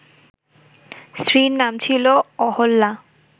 স্ত্রীর নাম ছিল অহল্যা